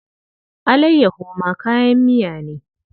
Allayyaho ma kayan miya ne.